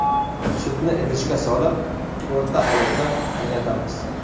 Sutni idishga solib, o‘rta olovda qaynatamiz.